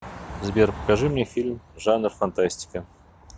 сбер покажи мне фильм жанр фантастика